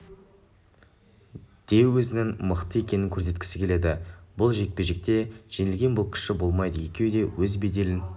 де өзінің мықты екенін көрсеткісі келеді бұл жекпе-жекте жеңілген боксшы болмайды екеуі де өз беделін